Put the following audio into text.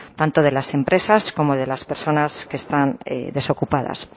tanto de las empresas como de las personas que están en desocupadas